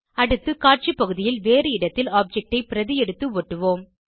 அடுத்து காட்சி பகுதியில் வேறு இடத்தில் ஆப்ஜெக்ட் ஐ பிரதி எடுத்து ஒட்டுவோம்